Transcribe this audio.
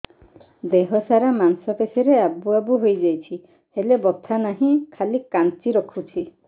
ଦେହ ସାରା ମାଂସ ପେଷି ରେ ଆବୁ ଆବୁ ହୋଇଯାଇଛି ହେଲେ ବଥା ନାହିଁ ଖାଲି କାଞ୍ଚି ରଖୁଛି